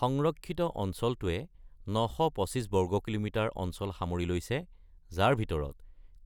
সংৰক্ষিত অঞ্চলটোৱে ৯২৫ বৰ্গ কিলোমিটাৰ অঞ্চল সামৰি লৈছে, যাৰ ভিতৰত,